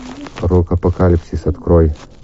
рок апокалипсис открой